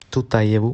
тутаеву